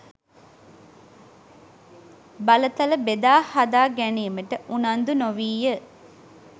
බලතල බෙදා හදා ගැනීමට උනන්දු නොවීය.